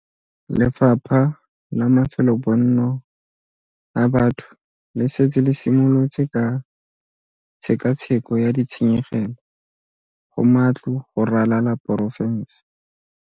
Lefapha la Mafelobonno a Batho le setse le simolotse ka tshekatsheko ya ditshenyegelo go matlo go ralala porofense.